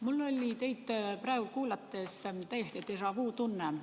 Mul oli teid praegu kuulates täiesti déjà-vu-tunne.